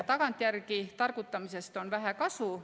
Tagantjärele targutamisest on vähe kasu.